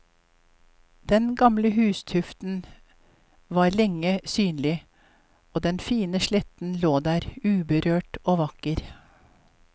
Den gamle hustuften var lenge synlig og den fine sletten lå der uberørt og vakker.